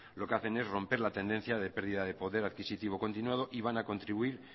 lo que hacen es romper la tendencia de pérdida de poder adquisitivo continuado y van a contribuir